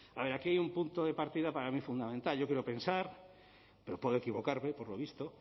a ver aquí hay un punto de partida para mí fundamental yo quiero pensar pero puedo equivocarme por lo visto